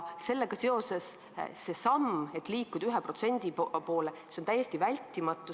Sellega seoses on see samm, et liikuda 1% poole, täiesti vältimatu.